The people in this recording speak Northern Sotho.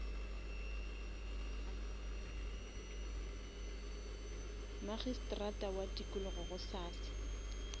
magistrata wa tikologo gosasa